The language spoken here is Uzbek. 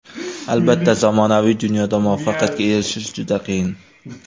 Albatta, zamonaviy dunyoda muvaffaqiyatga erishish juda qiyin.